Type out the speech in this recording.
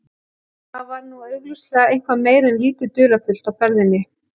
Þar var nú augljóslega eitthvað meira en lítið dularfullt á ferðinni.